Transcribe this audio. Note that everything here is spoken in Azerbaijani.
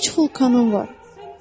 Üç vulkanım var.